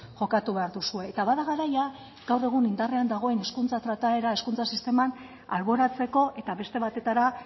jokatu behar duzue eta bada garaia gaur egun indarrean dagoen hizkuntza trataera hezkuntza sisteman alboratzeko eta beste batetara